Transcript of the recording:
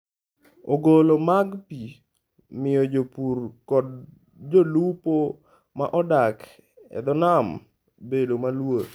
Ogolo mag pi miyo jopur kod jolupo ma odak e dho nam bedo maluor.